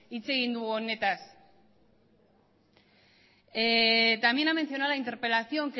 hitz egin dugu honetaz también ha mencionado la interpelación